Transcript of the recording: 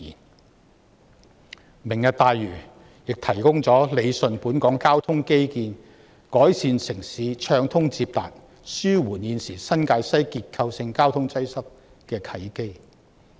此外，"明日大嶼願景"提供了理順本港交通基建、改善城市暢通接達及紓緩現時新界西結構性交通擠塞的契機。